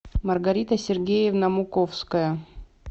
маргарита сергеевна муковская